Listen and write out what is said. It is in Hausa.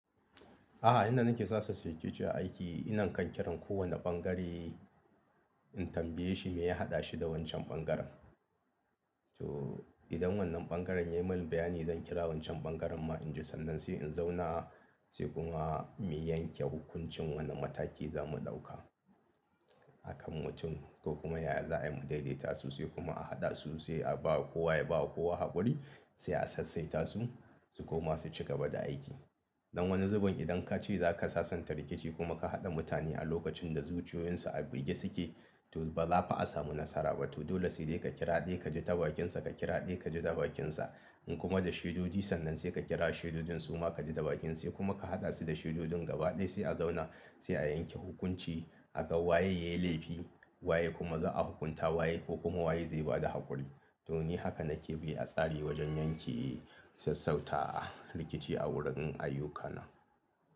A'a, inda nake sassauta rikici aiki ina kan kiran kowane ɓangare in tambaye shi me ya haɗa shi da wancan ɓangaren. To idan wannan ɓangaren ya yi min bayani zan kira wancan ɓangaren ma in ji sannan sai in zauna sai kuma mu yanke hukuncin wane mataki za mu ɗauka. Hakan mutum ko kuma yaya za a yi mu daidaita su sai kuma a haɗa su sai a ba kowa yaba kowa haƙuri sai a sassaita su su koma su ci gaba da aiki. Don wani zubin idan ka ce za ka sasanta rikici kuma ka haɗa mutane a lokacin da zuciyoyinsu a bige suke to ba za a fa a samu nasara ba. To dole sai ka kira ɗaya ka ji tabakinsa, ka kira ɗaya ka ji tabakinsa in kuma da shaidodi sannan sai ka kira shaidodinsu ma ka ji tabakin sai kuma ka haɗa su da shaidodin gaba ɗaya sai a zauna sai a yanke hukunci akan waye yayi laifi waye kuma za a hukunta waye ko kuma waye zai bada haƙuri. To ni haka nake bi a tsare wajen yanke sassauta rikici a wurin ayyukana.